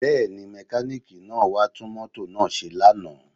Bẹ́ẹ̀ni, mẹkáníìkì wá tún mọ́tò náà ṣe lánàá